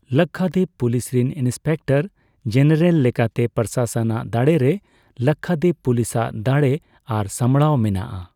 Lakshadweep police ᱨᱮᱱ inspector general ᱞᱮᱠᱟᱛᱮ ᱯᱨᱚᱥᱟᱥᱚᱠ ᱟᱜ ᱫᱟᱲᱮ ᱨᱮ ᱞᱟᱠᱠᱦᱟᱫᱤᱯ ᱯᱩᱞᱤᱥ ᱟᱜ ᱫᱟᱲᱮ ᱟᱨ ᱥᱟᱢᱲᱟᱣ ᱢᱮᱱᱟᱜᱼᱟ ᱾